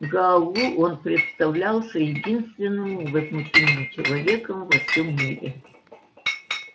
гаалу он представлялся единственным невозмутимым человеком во всём мире